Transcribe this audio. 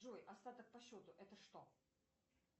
джой остаток по счету это что